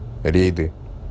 рейды